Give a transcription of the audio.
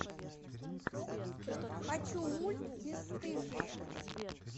хочу мульт бесстыжие